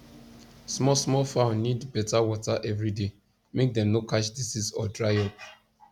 small small fowl need better water every day make dem no catch disease or dry up